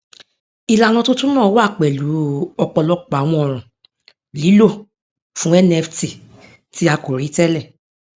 ìlànà tuntun náà wá pẹlú ọpọlọpọ àwọn ọràn lílò fún nft tí a kò rí tẹlẹ